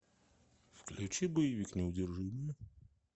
включи боевик неудержимые